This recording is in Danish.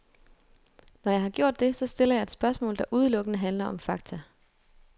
Når jeg har gjort det, så stiller jeg et spørgsmål, der udelukkende handler om fakta.